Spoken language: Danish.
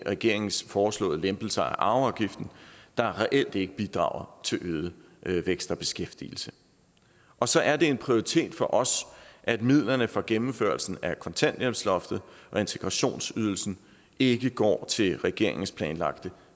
regeringens foreslåede lempelser af arveafgiften der reelt ikke bidrager til øget vækst og beskæftigelse og så er det en prioritet for os at midlerne for gennemførelsen af kontanthjælpsloftet og integrationsydelsen ikke går til regeringens planlagte